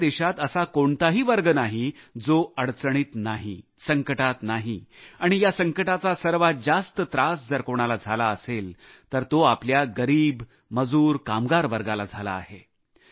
आपल्या देशात असा कोणताही वर्ग नाही जो अडचणीत नाही संकटात नाही आणि या संकटाचा सर्वात जास्त त्रास जर कोणाला झाला असेल तर तो आपल्या गरीब मजूर कामगार वर्गाला झाला आहे